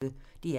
DR P1